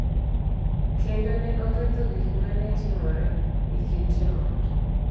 Kendo ne oketho gik ma ne timore e kind joot.